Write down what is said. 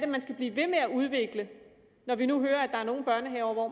man skal blive ved med at udvikle når vi nu hører at der er nogle børnehaver hvor